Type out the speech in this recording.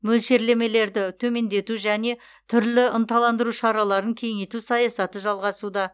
мөлшерлемелерді төмендету және түрлі ынталандыру шараларын кеңейту саясаты жалғасуда